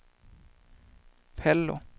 Pello